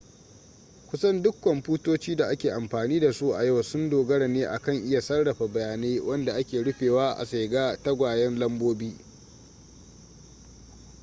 kusan duk kwamfutoci da ake amfani da su a yau sun dogara ne akan iya sarrafa bayanai wanda ake rufewa a sigar tagwayen lambobi